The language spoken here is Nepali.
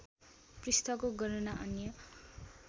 पृष्ठको गणना अन्य